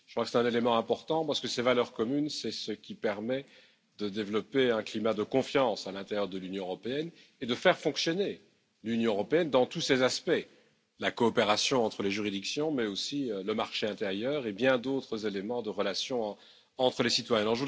C'est un élément important parce que ces valeurs communes permettent de développer un climat de confiance à l'intérieur de l'Union européenne et de la faire fonctionner dans tous ses aspects, comme la coopération entre les juridictions mais aussi le marché intérieur et bien d'autres éléments de relations entre les citoyens.